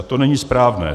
A to není správné.